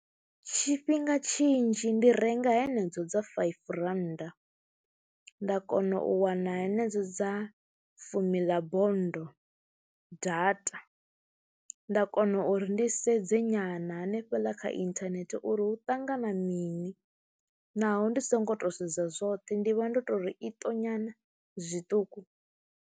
Tshifhinga tshinzhi ndi renga henedzo dza faifi rannda nda kona u wana henedzo dza fumi ḽa bonndo data, nda kona uri ndi sedze nyana hanefhaḽa kha inthanethe uri hu ṱangana mini naho ndi songo to sedza zwoṱhe ndi vha ndo tou ri iṱo nyana zwiṱuku.